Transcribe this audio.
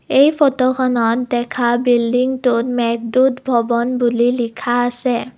এই ফটোখনত দেখা বিলডিংটোত মেঘদূত ভৱন বুলি লিখা আছে।